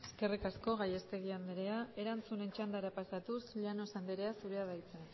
eskerrik asko gallastegui andrea erantzunen txandara pasatuz llanos anderea zurea da hitza